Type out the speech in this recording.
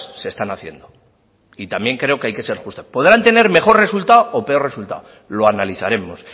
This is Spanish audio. se están haciendo y también creo que hay que ser justas podrán tener mejor resultado o peor resultado lo analizaremos